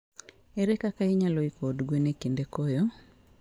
Ere kaka inyalo iko od gwen e kinde koyo?